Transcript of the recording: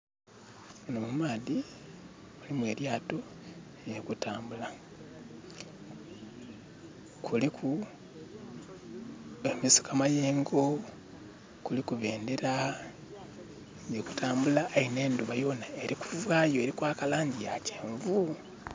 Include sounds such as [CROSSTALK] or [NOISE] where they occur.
Muno mu maadhi mulimu elyaato lili kutambula. Kuliku [SKIP] amayengo, kuliku bendera. Lili kutambula aye nh'endhuba yona eli kuvaayo eli kwaka langi ya kyenvu.